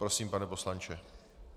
Prosím, pane poslanče.